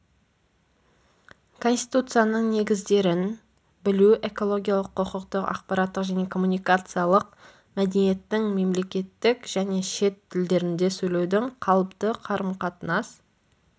конституциясының негіздерін білу экологиялық құқықтық ақпараттық және коммуникациялық мәдениеттің мемлекеттік және шет тілдерінде сөйлеудің қалыпты қарым-қатынас